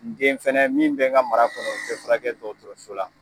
N den fɛnɛ min be n ka mara kɔnɔ , o tɛ furakɛ dɔgɔtɔrɔso la.